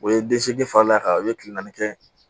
O ye den seegin fal'a kan o ye tile naani kɛ